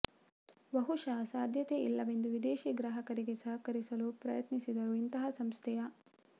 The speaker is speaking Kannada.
ಬಹುಶಃ ಸಾಧ್ಯತೆ ಇಲ್ಲವೆಂದು ವಿದೇಶಿ ಗ್ರಾಹಕರಿಗೆ ಸಹಕರಿಸಲು ಪ್ರಯತ್ನಿಸಿದರು ಇಂತಹ ಸಂಸ್ಥೆಯ